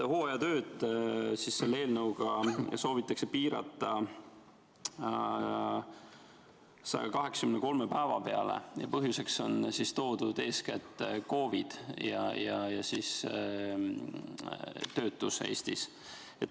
Hooajatööd selle eelnõuga soovitakse piirata 183 päeva peale ja põhjuseks on toodud eeskätt COVID ja töötus Eestis.